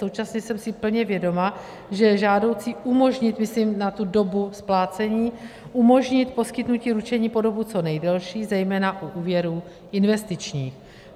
Současně jsem si plně vědoma, že je žádoucí umožnit, myslím na tu dobu splácení, umožnit poskytnutí ručení po dobu co nejdelší zejména u úvěrů investičních.